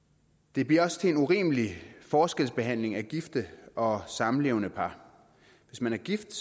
det bliver også til en urimelig forskelsbehandling af gifte og samlevende par hvis man er gift